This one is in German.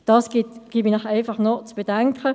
Das gebe ich Ihnen einfach noch zu bedenken.